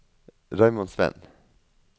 Raymond Sveen